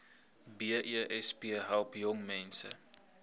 besp help jongmense